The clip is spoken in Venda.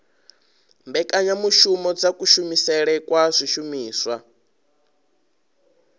mbekanyamushumo dza kushumisele kwa zwishumiswa